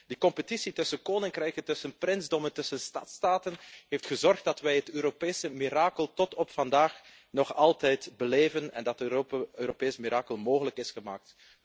Die concurrentie tussen koninkrijken, tussen prinsdommen, tussen stadstaten heeft gezorgd dat wij het Europese mirakel tot op vandaag nog altijd beleven en dat het Europees mirakel mogelijk is gemaakt.